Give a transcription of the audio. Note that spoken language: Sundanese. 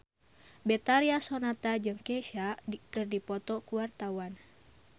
Betharia Sonata jeung Kesha keur dipoto ku wartawan